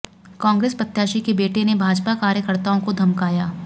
कांग्रेस प्रत्याशी के बेटे ने भाजपा कार्यकर्ताओं को धमकाया